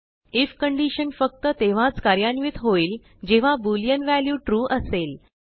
ifकंडीशन फक्ततेव्हाच कार्यान्वित होईल जेव्हाbooleanव्ह्याल्यूtrueअसेल